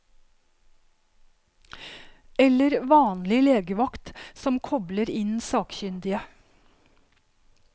Eller vanlig legevakt, som kobler inn sakkyndige.